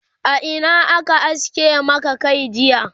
a Ina aka aske Maka Kai jiya?